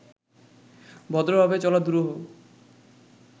ভদ্রভাবে চলা দুরূহ